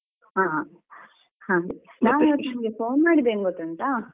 ಹಾ ಹಾಗೆ ನಾನು ಇವತ್ತು ನಿಮ್ಗೆ phone ಮಾಡಿದ್ದು ಏನು ಗೊತ್ತುಂಟಾ?